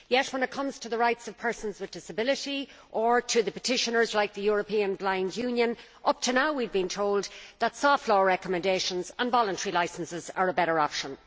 Yet when it comes to the rights of persons with a disability or to the petitioners, like the European Blind Union, up to now we have been told that soft law recommendations and voluntary licences are a better option.